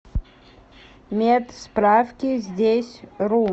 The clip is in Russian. медсправкиздесьру